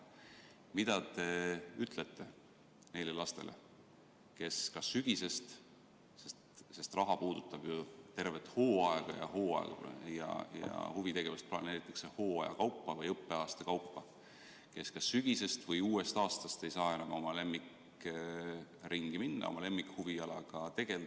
Mida te ütlete neile lastele, kes alates sügisest – see raha puudutab tervet hooaega ja huvitegevust planeeritakse hooaja või õppeaasta kaupa –, uuest õppeaastast ei saa enam oma lemmikringi minna, oma lemmikhuvialaga tegelda?